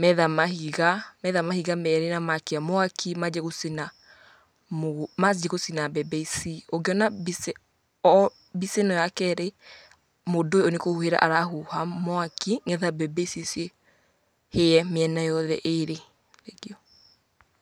Metha mahiga, metha mahiga merĩ na makia mwaki manjia gũcina mũgũ, manjia gũcina mbembe ici. Ũngĩona mbica o mbica ĩno ya kerĩ, mũndũ ũyũ nĩkũhuhĩra arahuha mwaki, nĩgetha mbembe ici cihĩe mĩena yothe ĩrĩ.